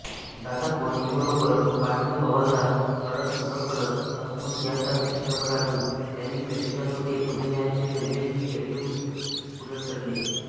दादा कोंडकेंबरोबर पांडू हवालदार कळत नकळत भस्म यासारख्या चित्रपटातून त्यांनी प्रेक्षकांपुढे अभिनयाचे वेगळेच पैलू उलगडले